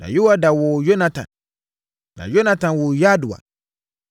na Yoiada woo Yonatan, na Yonatan woo Yadua.